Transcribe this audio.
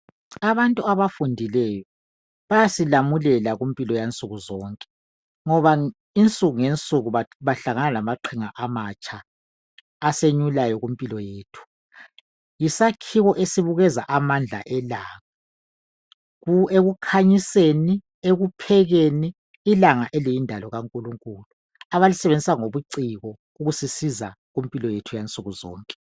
Abantu abafundileyo. Bayasilamulela kumpilo yansuku zonke ngoba insuku ngensuku babahlangana lamaqhinga amatsha asenyulayo kumpilo yethu. Yisakhiwo esibukeza amandla elanga ku, ekukhanyiseni, ekuphekeni ilanga eliyindalo kaNkulunkulu abalisebenzisa ngobuciko ukusisiza kumpilo yethu yansuku zonke.